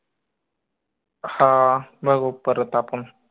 हां बघू परत आपन